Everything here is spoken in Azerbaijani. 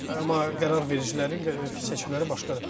Amma qərar vericilərin seçimləri başqadır.